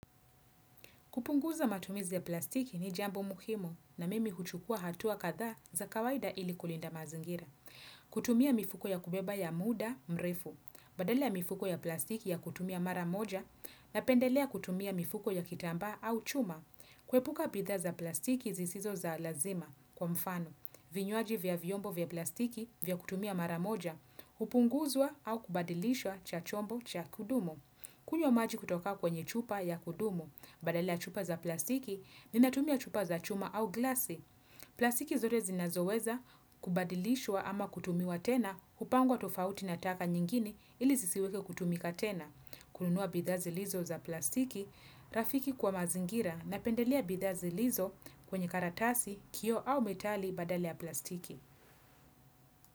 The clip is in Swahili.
Kupunguza matumizi ya plastiki ni jambo muhimu na mimi huchukua hatua kadhaa za kawaida ili kulinda mazingira. Kutumia mifuko ya kubeba ya muda mrefu, badala mifuko ya plastiki ya kutumia mara moja, napendelea kutumia mifuko ya kitambaa au chuma. Kuepuka bidhaa za plastiki zisizo za lazima kwa mfano, vinywaji vya vyombo vya plastiki vya kutumia mara moja, hupunguzwa au kubadilishwa cha chombo cha kudumu. Kunywa maji kutoka kwenye chupa ya kudumu, badala chupa za plastiki, ninatumia chupa za chuma au glasi. Plastiki zote zinazoweza, kubadilishwa ama kutumiwa tena, hupangwa tofauti na taka nyingine ili zisiweke kutumika tena. Kununua bidhaa zilizo za plastiki, rafiki kwa mazingira napendelea bidhaa zilizo kwenye karatasi, kioo au metali badala ya plastiki.